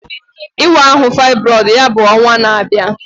Ịwa ahụ faịbroid ya bụ ọnwa na-abịa